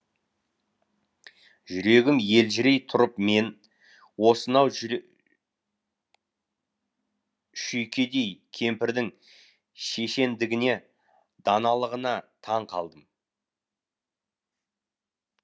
жүрегім елжірей тұрып мен осынау шүйкедей кемпірдің шешендігіне даналығына таң қалдым